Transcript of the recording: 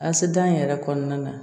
Asidan in yɛrɛ kɔnɔna na